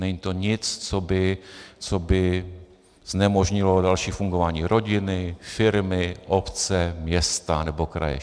Není to nic, co by znemožnilo další fungování rodiny, firmy, obce, města nebo kraje.